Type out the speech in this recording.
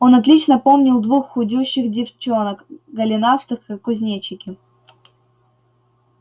он отлично помнил двух худющих девчонок голенастых как кузнечики